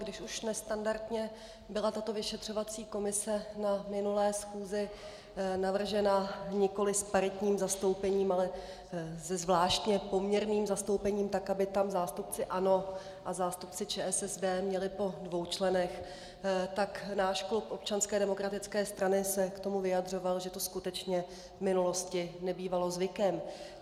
Když už nestandardně byla tato vyšetřovací komise na minulé schůzi navržena, nikoliv s paritním zastoupením, ale se zvláštně poměrným zastoupením tak, aby tam zástupci ANO a zástupci ČSSD měli po dvou členech, tak náš klub Občanské demokratické strany se k tomu vyjadřoval, že to skutečně v minulosti nebývalo zvykem.